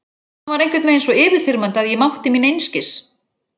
Hann var einhvern veginn svo yfirþyrmandi að ég mátti mín einskis.